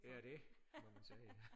Det er det må man sige